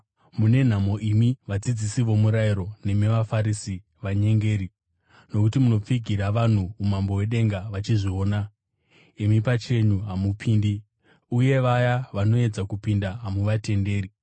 “Mune nhamo imi vadzidzisi vomurayiro nemi vaFarisi, vanyengeri! Nokuti munopfigira vanhu umambo hwedenga vachizviona. Imi pachenyu hamupindi, uye vaya vanoedza kupinda hamuvatenderi.